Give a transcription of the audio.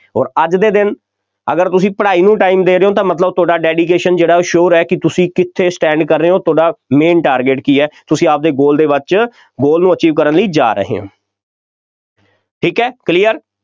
ਅੋਰ ਅੱਜ ਦੇ ਦਿਨ ਅਗਰ ਤੁਸੀਂ ਪੜ੍ਹਾਈ ਨੂੰ time ਦੇ ਰਹੇ ਹੋ ਤਾਂ ਮਤਲਬ ਤੁਹਾਡਾ dedication ਜਿਹੜਾ ਉਹ sure ਹੈ, ਕਿ ਤੁਸੀਂ ਕਿੱਥੇ stand ਕਰ ਰਹੇ ਹੋ, ਤੁਹਾਡਾ main target ਕੀ ਹੈ, ਤੁਸੀਂ ਆਪਦੇ goal ਦੇ ਵਿੱਚ goal ਨੂੰ achieve ਕਰਨ ਲਈ ਜਾ ਰਹੇ ਹੋ ਠੀਕ ਹੈ clear